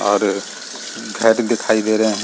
और घर दिखाई दे रहे हैं।